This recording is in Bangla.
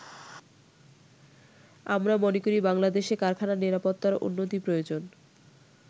আমরা মনে করি বাংলাদেশে কারখানা নিরাপত্তার উন্নতি প্রয়োজন।